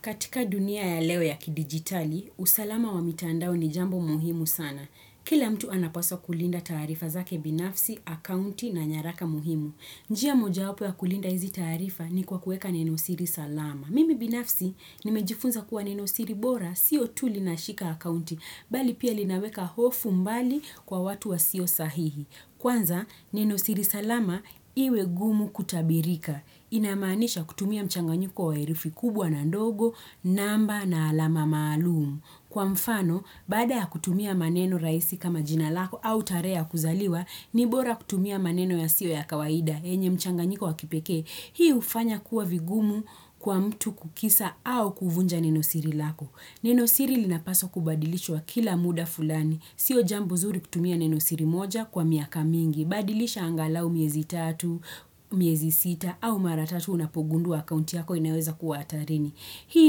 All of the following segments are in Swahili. Katika dunia ya leo ya kidigitali, usalama wa mitandao ni jambo muhimu sana. Kila mtu anapaswa kulinda taarifa zake binafsi, akaunti na nyaraka muhimu. Njia mojawapo ya kulinda hizi taarifa ni, kwa kueka nenosiri salama. Mimi binafsi nimejifunza kuwa nenosiri bora, sio tu linashika akaunti, bali pia linaweka hofu mbali kwa watu wasio sahihi. Kwanza, nenosiri salama iwe gumu kutabirika. Inamaanisha kutumia mchanganyiko wa herufi kubwa na ndogo, namba na alama maalumu. Kwa mfano, baada ya kutumia maneno rahisi kama jina lako au tarehe ya kuzaliwa, ni bora kutumia maneno yasio ya kawaida. Yenye mchanganyiko wa kipekee. Hii hufanya kuwa vigumu kwa mtu kukisa au kuvunja nenosiri lako. Nenosiri linapaswa kubadilishwa kila muda fulani. Sio jambo zuri kutumia nenosiri moja kwa miaka mingi. Badilisha angalau miezi tatu, miezi sita, au mara tatu unapogundua akaunti yako inaweza kuwa hatarini. Hii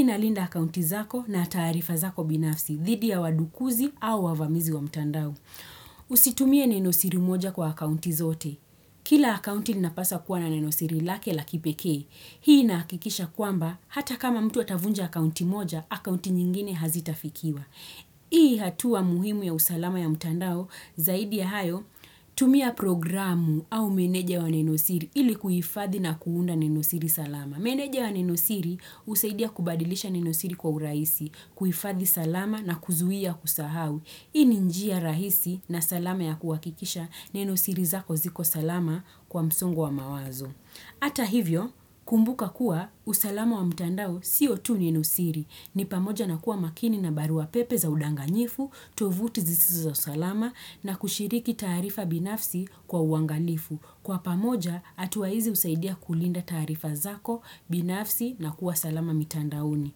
inalinda akaunti zako na taarifa zako binafsi, dhidi ya wadukuzi au wavamizi wa mtandao. Usitumie nenosiri moja kwa akaunti zote. Kila akaunti inapaswa kuwa na nenosiri lake la kipekee. Hii inahakikisha kwamba, hata kama mtu atavunja akaunti moja, akaunti nyingine hazitafikiwa. Hii hatua muhimu ya usalama ya mtandao zaidi ya hayo tumia programu au meneja wa nenosiri ili kuhifadhi na kuunda nenosiri salama. Meneja wa nenosiri husaidia kubadilisha nenosiri kwa uraisi, kuhifadhi salama na kuzuia kusahau. Hii ni njia rahisi na salama ya kuhakikisha nenosiri zako ziko salama kwa msongo wa mawazo. Ata hivyo, kumbuka kuwa usalama wa mtandao si tu nenosiri. Ni pamoja na kuwa makini na barua pepe za udanganyifu, tovuti zisizo salama na kushiriki taarifa binafsi kwa uangalifu. Kwa pamoja, atua hizi husaidia kulinda taarifa zako binafsi na kuwa salama mitandaoni.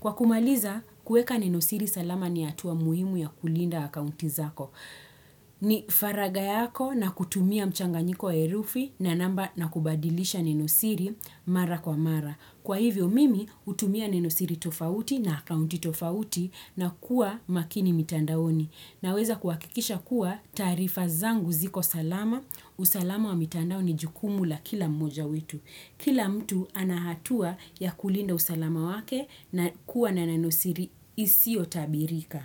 Kwa kumaliza, kueka ninosiri salama ni atua muhimu ya kulinda akauti zako. Ni faragha yako na kutumia mchanganyiko wa herufi na namba na kubadilisha nenosiri mara kwa mara. Kwa hivyo mimi hutumia nenosiri tofauti na akauti tofauti na kuwa makini mitandaoni. Naweza kuhakikisha kuwa taarifa zangu ziko salama. Usalama wa mitandao ni jukumu la kila mmoja wetu. Kila mtu ana hatua ya kulinda usalama wake na kuwa na nenosiri isio tabirika.